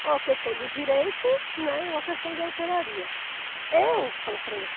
Ou a questão do direito, né, ou a questão da hotelaria. Eu, falo para ele assim